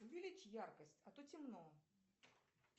увеличь яркость а то темно